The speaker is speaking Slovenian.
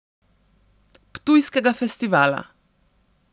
Ptujskega festivala.